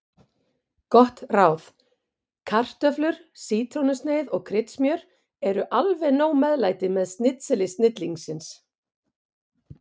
Gott ráð: Kartöflur, sítrónusneið og kryddsmjör eru alveg nóg meðlæti með snitseli snillingsins.